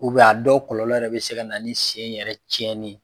a dɔw kɔlɔlɔ yɛrɛ bɛ se ka na ni sen yɛrɛ cɛnni ye